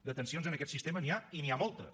de tensions en aquest sistema n’hi ha i n’hi ha moltes